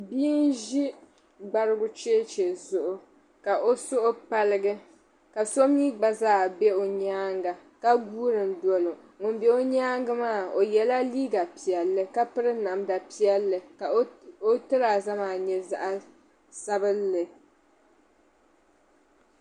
Bia n-ʒi gbarigu cheche zuɣu ka o suhu paligi ka so mi gba zaa be o nyaaŋga ka guuri doli o ŋun be o nyaaŋga maa o yɛla liiga piɛlli ka piri namda piɛlli ka o tiraaza maa nyɛ zaɣ' sabilinli.